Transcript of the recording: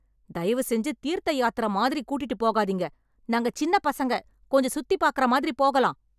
தயவு செஞ்சு தீர்த்த யாத்திரை மாதிரி கூட்டிட்டுப் போகாதீங்க. நாங்க சின்ன பசங்க, கொஞ்சம் சுத்திப் பாக்கிற மாதிரி போகலாம்.